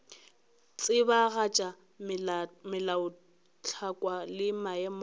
tsebagatša melaotlhakwa le maemo go